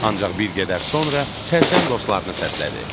Ancaq bir qədər sonra təzədən dostlarını səslədi: